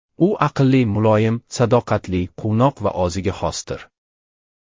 U aqlli, muloyim, sadoqatli, quvnoq va o‘ziga xosdir.